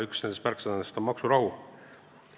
Üks nendest märksõnadest on "maksurahu".